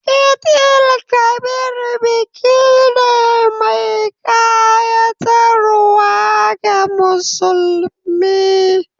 Eid_el Kabir biki ne mai kayatarwa ga musulmi.